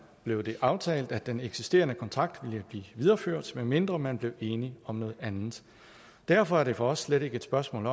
blev det aftalt at den eksisterende kontrakt ville blive videreført medmindre man blev enig om noget andet derfor er det for os slet ikke et spørgsmål